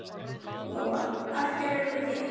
Lóa: Af hverju eruð þið hér?